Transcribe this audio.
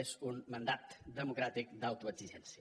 és un mandat democràtic d’autoexigència